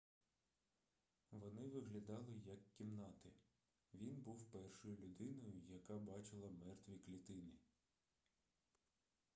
вони виглядали як кімнати він був першою людиною яка бачила мертві клітини